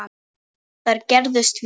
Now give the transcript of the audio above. Þær gerðust víða.